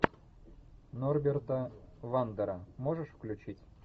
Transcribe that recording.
норберта вандера можешь включить